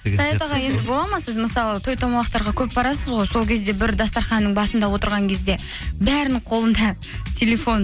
саят аға енді болады ма сіз мысалы той томалақтарға көп барасыз ғой сол кезде бір дастарханның басында отырған кезде бәрінің қолында телефон